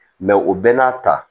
o bɛɛ n'a ta